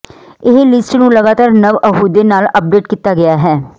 ਇਹ ਲਿਸਟ ਨੂੰ ਲਗਾਤਾਰ ਨਵ ਅਹੁਦੇ ਨਾਲ ਅੱਪਡੇਟ ਕੀਤਾ ਗਿਆ ਹੈ